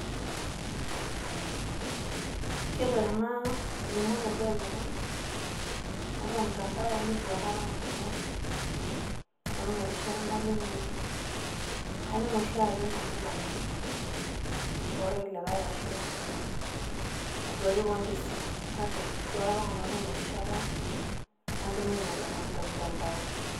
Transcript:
Yielo tena limunoto oolomon tiatua ormutandao neitu aekata Nanu atum erishata nalimunyie, katum oshiake Nanu ilomon tolkulkae ashu aduaki kewan tesimu kake eitu aekata Nanu atum erishata nalimunyie ilomon te mutandao.